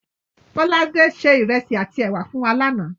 Bọ́ládé se ìrẹsì àtí èwà fún wa lánáà